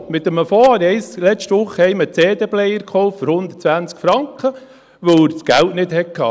Mit dem Fonds habe ich letzte Wochen einem für 120 Franken einen CD-Player gekauft, weil er das Geld nicht hatte.